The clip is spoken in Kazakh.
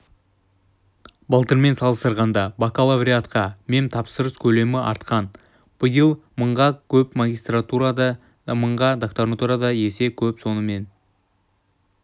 былтырмен салыстырғанда бакалавриатқа мемтапсырыс көлемі артқан быил мыңға көп магистратурада да мыңға докторантурада есе көп сонымен